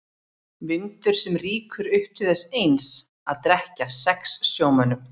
Vindur sem rýkur upp til þess eins að drekkja sex sjómönnum.